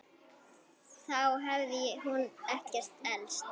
Þá hafði hún ekkert elst.